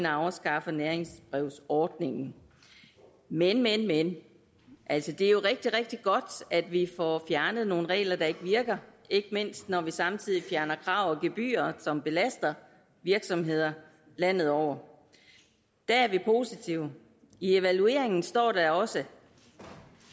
afskaffer næringsbrevsordningen men men men altså det er jo rigtig rigtig godt at vi får fjernet nogle regler der ikke virker ikke mindst når vi samtidig fjerner krav og gebyrer som belaster virksomheder landet over der er vi positive i evalueringen står der også at